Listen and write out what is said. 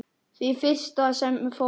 Því fyrsta sem fór.